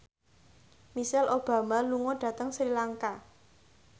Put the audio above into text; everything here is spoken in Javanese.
Michelle Obama lunga dhateng Sri Lanka